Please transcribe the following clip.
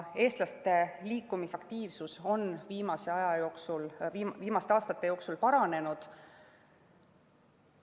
Eestlaste liikumisaktiivsus on viimaste aastate jooksul paranenud.